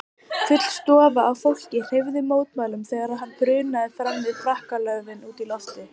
Full stofa af fólki hreyfði mótmælum þegar hann brunaði fram með frakkalöfin út í loftið.